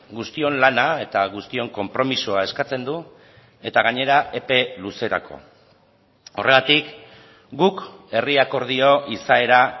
guztion lana eta guztion konpromisoa eskatzen du eta gainera epe luzerako horregatik guk herri akordio izaera